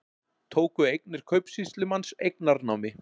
Tóku eignir kaupsýslumanns eignarnámi